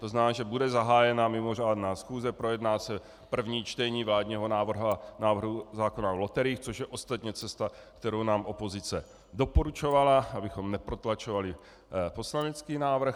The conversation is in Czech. To znamená, že bude zahájena mimořádná schůze, projedná se první čtení vládního návrhu zákona o loteriích, což je ostatně cesta, kterou nám opozice doporučovala, abychom neprotlačovali poslanecký návrh.